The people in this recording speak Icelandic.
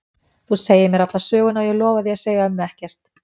Þú segir mér alla söguna og ég lofa því að segja ömmu ekkert.